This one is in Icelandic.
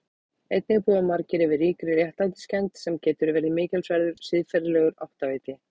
Einnig búa margir yfir ríkri réttlætiskennd sem getur verið mikilsverður siðferðilegur áttaviti.